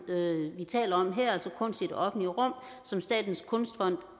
vi taler om her altså kunst i det offentlige rum som statens kunstfond